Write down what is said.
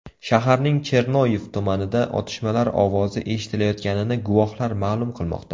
Shaharning Chernoviy tumanida otishmalar ovozi eshitilayotganini guvohlar ma’lum qilmoqda.